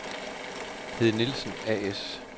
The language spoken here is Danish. Hede Nielsen A/S